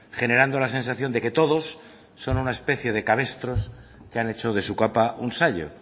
generando la sensación de que todos son una especie de cabestros que han hecho de su capa un sayo